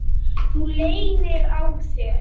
Þú leynir á þér!